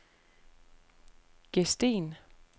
Gesten